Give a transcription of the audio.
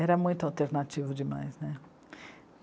Era muito alternativo demais, né?